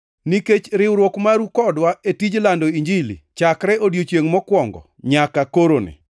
nikech riwruok maru kodwa e tij lando Injili chakre odiechiengʼ mokwongo nyaka koroni,